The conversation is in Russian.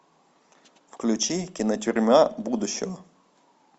включи кинотюрьма будущего